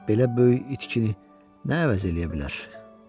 Belə böyük itkini nə əvəz eləyə bilər?